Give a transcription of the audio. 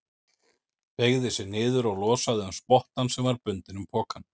Beygði sig niður og losaði um spottann sem var bundinn um pokann.